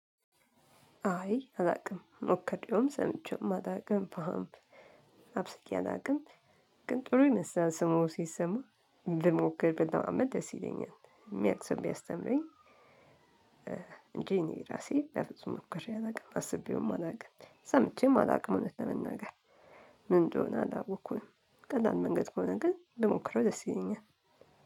አይ አላውቅም ሞክሬውም ሰምቼውም አላውቅም ፓም አብስየ አላውቅም ግን ጥሩ ይመስላል ስሙ ሲሰማ እንድሞክር ብለማመድ ደስ ይለኛል የሚያውቅ ሰው ቢያስተምረኝ። እንጂ እኔ ራሴ በፍጹም ሞክሬ አላውቅም አስቤውም አላውቅም ሰምቼም አላውቅም እውነት ለመናገር። ምን እንደሆነም አላወቅኩም። ቀላል መንገድ ከሆነ ግን ብሞክረው ደስ ይለኛል።